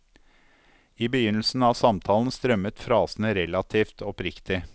I begynnelsen av samtalen strømmet frasene relativt oppriktig.